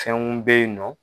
Fɛnw bɛ yen nɔ.